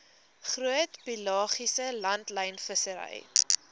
groot pelagiese langlynvissery